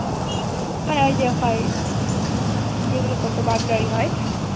হা যে হয় যেগুলো করতো Burglary হয়